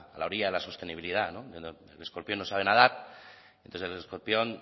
la orilla de la sostenibilidad no el escorpión no saben nadar entonces el escorpión